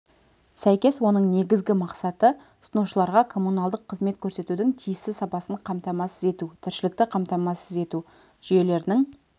сәйкес оның негізгі мақсаты тұтынушыларға коммуналдық қызмет көрсетудің тиісті сапасын қамтамасыз ету тіршілікті қамтамасыз ету жүйелерінің